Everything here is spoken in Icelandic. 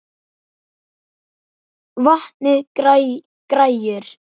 Vantaði græjur?